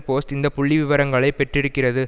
post இந்த புள்ளி விவரங்களை பெற்றிருக்கிறது